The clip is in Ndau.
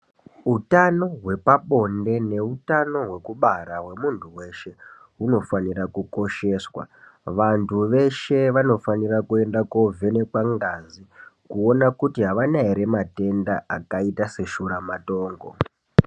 Utano hwepabonde neutano hwekubara hwemuntu weshe, hunofanira kukosheswa. Vantu veshe vanofanira kuenda koovhenekwa ngazi, kuona kuti avana ere matenda, akaita seshuramatongo.